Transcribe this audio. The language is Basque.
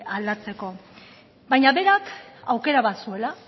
aldatzeko baina berak aukera bat zuela